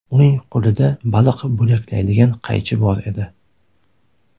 Uning qo‘lida baliq bo‘laklaydigan qaychi bor edi.